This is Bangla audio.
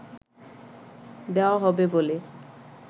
দেওয়া হবে বলে